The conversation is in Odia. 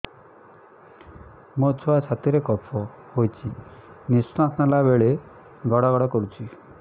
ମୋ ଛୁଆ ଛାତି ରେ କଫ ହୋଇଛି ନିଶ୍ୱାସ ନେଲା ବେଳେ ଘଡ ଘଡ କରୁଛି